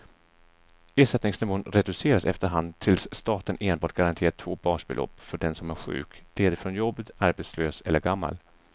Ersättningsnivån reduceras efterhand tills staten enbart garanterar två basbelopp för den som är sjuk, ledig från jobbet, arbetslös eller gammal.